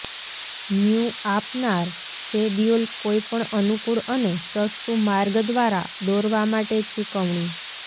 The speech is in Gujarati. ન્યૂ આપનાર શેડ્યૂલ કોઈપણ અનુકૂળ અને સસ્તું માર્ગ દ્વારા દોરવામાં માટે ચૂકવણી